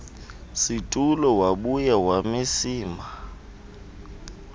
situlo wabuya wamemisa